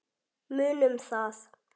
Munum það.